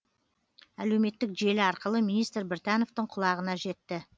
әлеуметтік желі арқылы министр біртановтың құлағына жетті